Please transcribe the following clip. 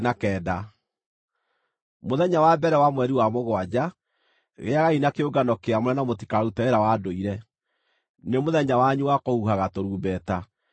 “ ‘Mũthenya wa mbere wa mweri wa mũgwanja, gĩagai na kĩũngano kĩamũre na mũtikarute wĩra wa ndũire. Nĩ mũthenya wanyu wa kũhuhaga tũrumbeta.